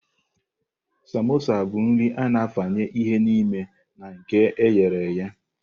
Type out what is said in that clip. Samosa bụ nri a-na afanye ihe n'ime na nke e ghere eghe.